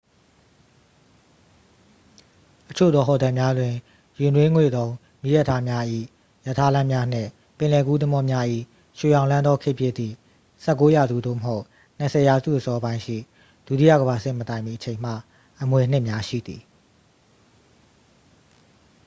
အချို့သောဟိုတယ်များတွင် ရေနွေးငွေ့သုံ းမီးရထားများ၏ ရထားလမ်းများနှင့် ပင်လယ်ကူးသင်္ဘောများ၏ ရွှေရောင်လွှမ်းသော ခေတ်ဖြစ်သည့် 19th ရာစု သို့မဟုတ် 20th ရာစုအစောပိုင်းရှိ ဒုတိယကမ္ဘာစစ်မတိုင်မီအချိန်မှ အမွေအနှစ်များရှိသည်